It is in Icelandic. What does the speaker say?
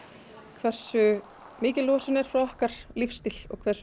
hversu mikil losun er frá okkar lífstíl hversu